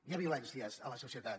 hi ha violències a la societat